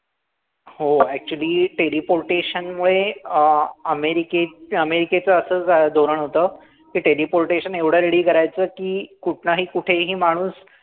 हो. Actually teleportation मुळे, अं अमेरिके अमेरिकेचं असं धोरण होतं, की teleportation इतकं ready करायचं की, कुठनंही कुठेही माणूस